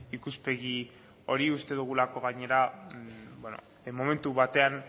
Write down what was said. ikuspegi hori uste dugulako gainera momentu batean